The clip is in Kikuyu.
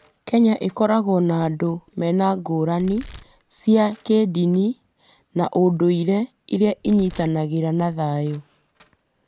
Kenya ĩkoragwo na andũ mena ngũrani cia kĩndini na ũndũire iria inyitanagĩra na thayũ.